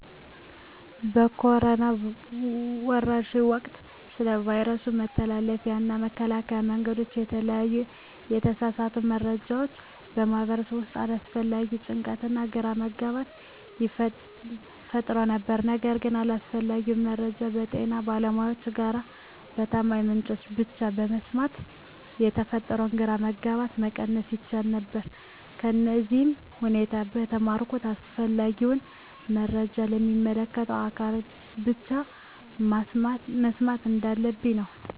በኮሮና ወረርሽኝ ወቅት ስለ ቫይረሱ መተላለፊያ እና መከላከያ መንገዶች የተለያዩ የተሳሳቱ መረጃዎች በማህበረሰቡ ውስጥ አላስፈላጊ ጭንቀትና ግራ መጋባት ፈጥረው ነበር። ነገር ግን አስፈላጊውን መረጃ ከጤና ባለሙያዎች እና ከታማኝ ምንጮች ብቻ በመስማት የተፈጠረውን ግራ መጋባት መቀነስ ይቻል ነበር። ከዚህም ሁኔታ የተማርሁት አስፈላጊውን መረጃ ከሚመለከታቸው አካላት ብቻ መስማት እንዳለብኝ ነው።